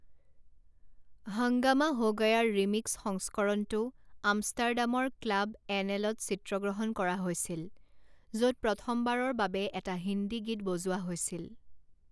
হাংগামা হো গয়াৰ ৰিমিক্স সংস্কৰণটো আমষ্টাৰডামৰ ক্লাব এনএলত চিত্ৰগ্ৰহণ কৰা হৈছিল, য'ত প্ৰথমবাৰৰ বাবে এটা হিন্দী গীত বজোৱা হৈছিল।